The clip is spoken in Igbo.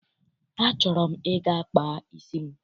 Achọrọ m ịga kpaa isi m.